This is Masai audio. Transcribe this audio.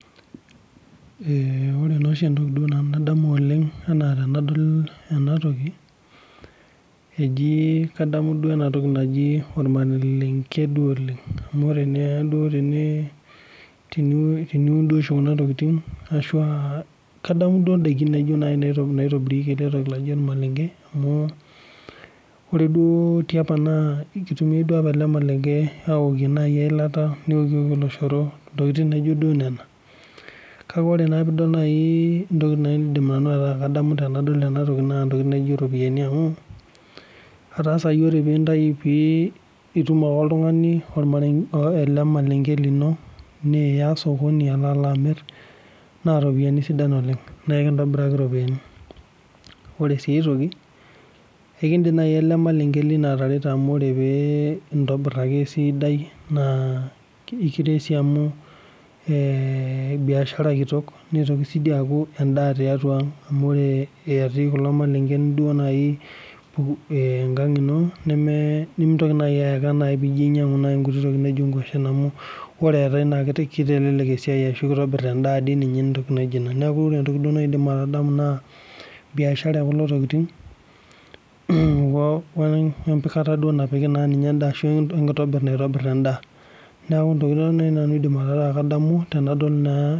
Ore naa oshi entoki nadamu nanu oleng tenadol enatoki naa kadamu entoki naaji ormalenge oleng amu teniun Kuna tokitin naa kadamu ndakin naitomirieki enatoki naaji ormalenge amu ore apa tiapa naa keokieki eyilata neokieki oloshoro ntokitin duo naijio Kuna neeku ore entoki nadamu Nena tenadol ena naa eropiani amu etaa etum ake oltung'ani ele malenge lino Niya sokoni aloo amir naa eropiani sidan oleng naa ekintoburaki eropiani ore sii aitoki naa ekidim naaji ele malenge lino pee entobir ake esidai naa enkitobir amu biashara kitok nitoki aa endaa tiatua ang amu ore etii kulo malengen engang eno nimintoki naaji ayaka pinyiangu entoki naijio nkwashen Abu kitelelek nitobir endaa neeku ore naaji naidim aitadamu naa biashara ekulo tokitin oo mbikata napiki enda wee nitobirata naitobir endaa tenipiki neeku Nena naanu aidim ataa kadamu